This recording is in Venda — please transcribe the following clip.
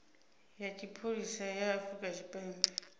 ya tshipholisa ya afrika tshipembe